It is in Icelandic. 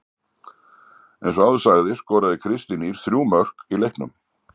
Eins og áður sagði skoraði Kristín Ýr þrjú mörk í leiknum.